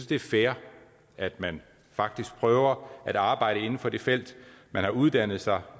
det er fair at man faktisk prøver at arbejde inden for det felt man har uddannet sig